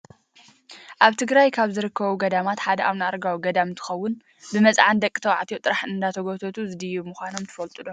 ኣብ ትግራይ ካብ ዝርከቡ ገዳማት ሓደ ኣብነ ኣረጋዊ ገዳም እንትከውን፣ ብመፅዓን ደቂ ተባዕትዮ ጥራሕ እንዳተጎተቱ ዝድይቡ ምኳኖም ትፈልጡ ዶ ?